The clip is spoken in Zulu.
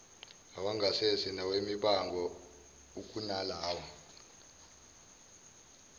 awangasese nawemibango ukunalawo